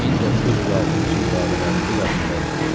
1906-cı ilin radələrində yadımdadır.